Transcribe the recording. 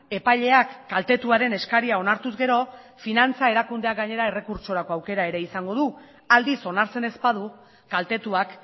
epaileak kaltetuaren eskaria onartuz gero finantza erakundeak gainera errekurtsorako aukera ere izango du aldiz onartzen ez badu kaltetuak